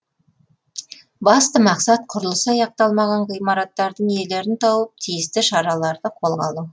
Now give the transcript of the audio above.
басты мақсат құрылысы аяқталмаған ғимараттардың иелерін тауып тиісті шараларды қолға алу